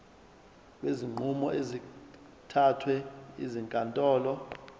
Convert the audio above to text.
kwezinqumo ezithathwe ezinkantolo